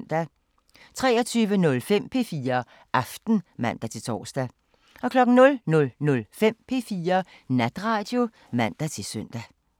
23:05: P4 Aften (man-tor) 00:05: P4 Natradio (man-søn)